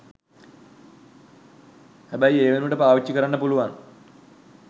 හැබැයි ඒ වෙනුවට පාවිච්චි කරන්න පුළුවන්